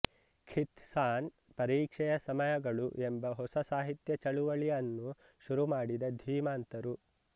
ಖಿತ್ ಸಾನ್ ಪರೀಕ್ಷೆಯ ಸಮಯಗಳು ಎಂಬ ಹೊಸ ಸಾಹಿತ್ಯ ಚಳುವಳಿ ಅನ್ನು ಶುರು ಮಾಡಿದ ಧೀಮಂತರು